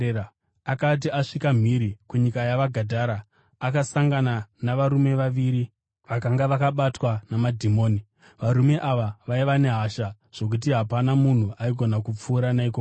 Akati asvika mhiri kunyika yavaGadhara, akasangana navarume vaviri vakanga vakabatwa namadhimoni. Varume ava vaiva nehasha zvokuti hapana munhu aigona kupfuura naikoko.